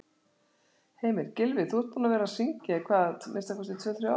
Heimir: Gylfi, þú ert búinn að vera að syngja í hvað, minnsta kosti tvö-þrjú ár?